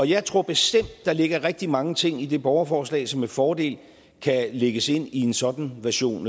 jeg tror bestemt at der ligger rigtig mange ting i det borgerforslag som med fordel kan lægges ind i en sådan version